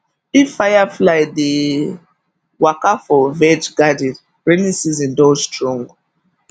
if firefly dey waka for veg garden rainy season don strong